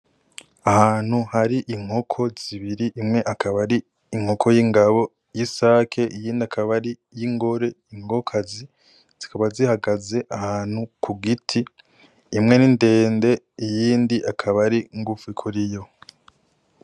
Ahantu hari inkoko zibiri imwe akaba ari inkoko yingabo yisake, iyindi akaba ariyingore inkokokazi, zikaba zihagaze ahantu kugiti imwe nindende iyindi akaba aringufi kuriyo.